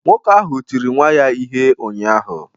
Nwoke ahụ tiri nwa ya ihe ụnyahụ